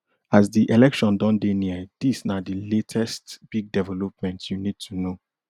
as di election don dey near dis na di latest big developments you need to know